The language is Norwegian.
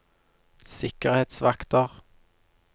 sikkerhetsvakter